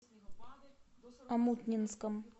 омутнинском